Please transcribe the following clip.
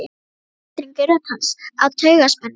Það var titringur í rödd hans af taugaspennu.